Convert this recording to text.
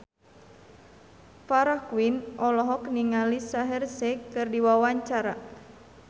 Farah Quinn olohok ningali Shaheer Sheikh keur diwawancara